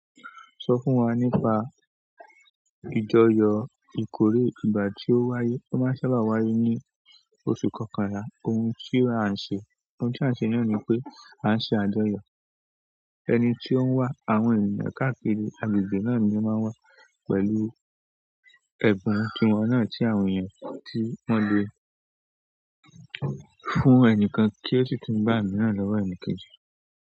Sọ fún wa nípa ìjọyọ̀ ìkórè ìgbà tí ó wáyé. Ó máa ń sábà wáyé ní oṣù kọkànlá. Ohun ti a n se náà ni wípé a n se àjọyọ̀. Ẹni tí ó ń wá, àwọn èeyàn káàkiri agbègbè náà ni ó máa wá pẹ̀lú ẹ̀bùn tiwon náà tí àwọn ènìyàn tí wọ́n le fún ẹnìkan kí ó sì tún bá ẹ̀mí náà lọ́wọ́ ẹni kejì.